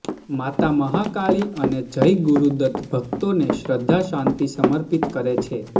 માતા મહાકાળી અને જય ગુરૂદત ભકતોને શ્રધ્ધા શાંતિ સમર્પીત કરે છે